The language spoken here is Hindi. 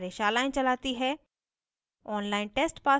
spoken tutorials का उपयोग करके कार्यशालाएं चलाती है